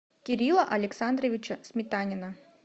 кирилла александровича сметанина